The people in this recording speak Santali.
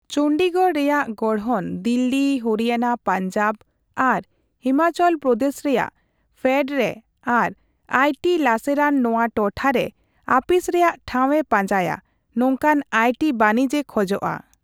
ᱪᱚᱱᱰᱤᱜᱚᱲ ᱨᱮᱭᱟᱜ ᱜᱚᱲᱦᱚᱱ, ᱫᱤᱞᱞᱤ, ᱦᱚᱨᱤᱭᱟᱱᱟ, ᱯᱟᱧᱡᱟᱵᱽ, ᱟᱨ ᱦᱤᱢᱟᱪᱚᱞ ᱯᱨᱚᱫᱮᱥ ᱨᱮᱭᱟᱜ ᱯᱷᱮᱰ ᱨᱮ ᱟᱨ ᱟᱭᱴᱤ ᱞᱟᱥᱮᱨᱟᱱ ᱱᱚᱣᱟ ᱴᱚᱴᱷᱟ ᱨᱮ ᱟᱯᱷᱤᱥ ᱨᱮᱭᱟᱜ ᱴᱷᱟᱣ ᱮ ᱯᱟᱡᱟᱸᱭᱟ ᱱᱚᱝᱠᱟᱱ ᱟᱭᱴᱤ ᱵᱟᱱᱤᱡᱮ ᱠᱷᱚᱡᱽᱼᱟ ᱾